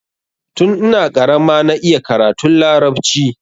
Tun ina karama na iya karatun larabci.